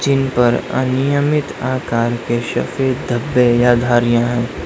Gene पर अनियमित आकार के सफेद धब्बे या धारियां है।